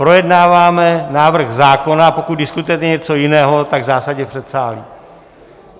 Projednáváme návrh zákona, a pokud diskutujete něco jiného, tak zásadně v předsálí.